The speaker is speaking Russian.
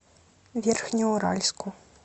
верхнеуральску